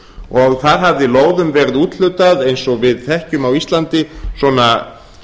og þar hafði lóðum verið úthlutað eins og við þekkjum á íslandi svona